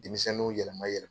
Denmisɛnninw yɛlɛma yɛlɛma